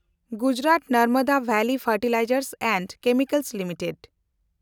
Gujarat Narmada valley fertilizers and chemicals limited